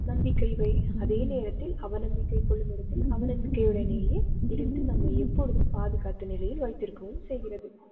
நம்பிக்கைவை அதே நேரத்தில் அவநம்பிக்கை கொள்ளும் இடத்தில் அவநம்பிக்கையுடனேயே இருந்து நம்மை எப்பொழுதும் பாதுகாத்து நிலையில் வைத்திருக்கவும் செய்கிறது.